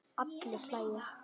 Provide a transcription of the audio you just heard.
Allir hlæja.